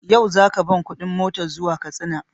Yau za ka ban kuɗin motar zuwa Katsinan?